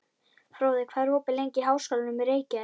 Fróði, hvað er opið lengi í Háskólanum í Reykjavík?